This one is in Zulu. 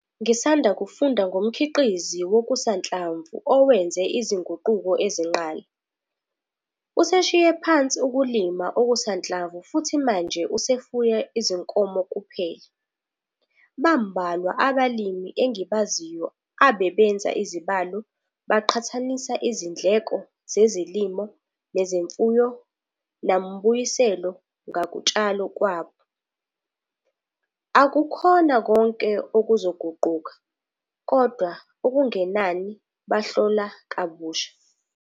Ngisanda kufunda ngomkhiqizi wokusanhlamvu owenze izinguquko ezinqala. Useshiye phansi ukulima okusanhlamvu futhi manje usefuya izinkomo kuphela. Bambalwa abalimi engibaziyo abebenza izibalo baqhathanisa izindleko zezilimo nezemfuyo nambuyiselo ngokutshala kwabo. Akukhona konke okuzoguquka, kodwa okungenani bahlola kabusha.